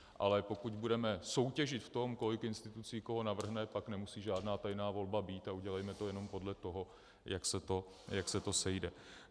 Ale pokud budeme soutěžit v tom, kolik institucí koho navrhne, tak nemusí žádná tajná volba být a udělejme to jenom podle toho, jak se to sejde.